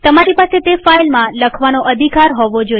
તમારી પાસે તે ફાઈલમાં લખવાનો અધિકાર હોવો જોઈએ